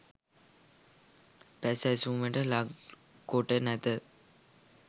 පැසැසුමට ලක් කොට නැත.